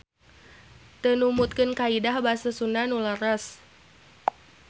Teu numutkeun kaidah basa sunda nu leres.